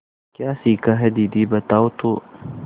क्या सीखा है दीदी बताओ तो